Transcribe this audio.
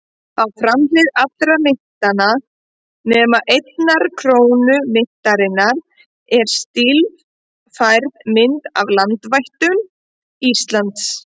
Á framhlið allra myntanna, nema einnar krónu myntarinnar, er stílfærð mynd af landvættum Íslands.